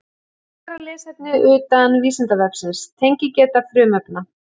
Frekara lesefni utan Vísindavefsins: Tengigeta frumefna.